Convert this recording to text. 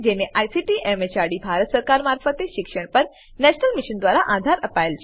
જેને ICT MHRD Bharat સરકાર મારફતે શિક્ષણ પર નેશનલ મિશન દ્વારા આધાર અપાયેલ છે